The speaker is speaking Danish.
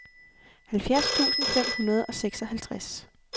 halvfjerds tusind fem hundrede og seksoghalvtreds